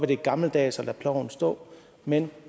det er gammeldags at lade ploven stå men